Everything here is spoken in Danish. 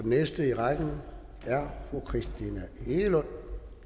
næste i rækken er fru christina egelund